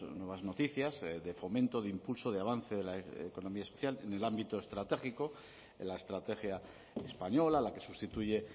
nuevas noticias de fomento de impulso de avance de la economía social en el ámbito estratégico en la estrategia española la que sustituye